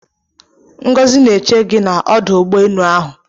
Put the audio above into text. Ngọzị na eche gị na ọdụ ụgbọ enu ahụ